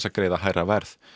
að greiða hærra verð